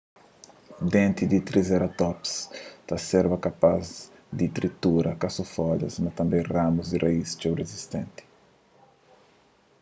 denti di un triseratops ta serba kapaz di tritura ka so folhas mas tanbê ramus y raíz txeu rizistenti